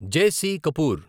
JC. Kapoor